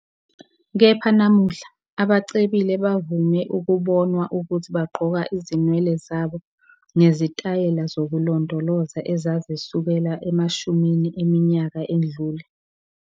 Kepha namuhla, abacebile bavame ukubonwa ukuthi bagqoka izinwele zabo ngezitayela zokulondoloza ezazisukela emashumini eminyaka edlule.